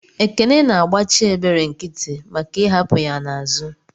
Ekene na agbachi ebere nkiti maka I'hapu ya n'azu.